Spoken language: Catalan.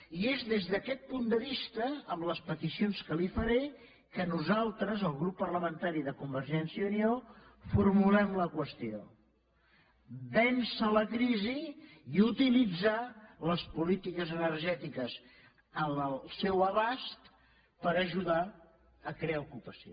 i és des d’aquest punt de vista amb les peticions que li faré que nosaltres el grup parlamentari de convergència i unió formulem la qüestió vèncer la crisi i utilitzar les polítiques energètiques al seu abast per ajudar a crear ocupació